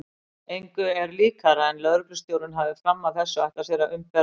Engu er líkara en lögreglustjórinn hafi fram að þessu ætlað sér að umbera